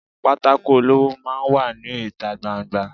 pàtàkó olọwọ máà ń wà ní itá gbá- n-gbà